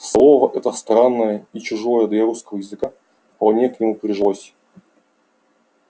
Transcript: слово это странное и чужое для русского языка вполне к нему прижилось